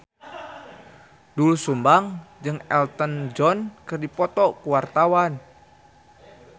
Doel Sumbang jeung Elton John keur dipoto ku wartawan